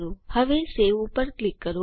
હવે સવે ઉપર ક્લિક કરો